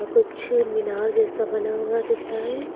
कुछ मीनार जैसा बना हुआ दिख रहा है।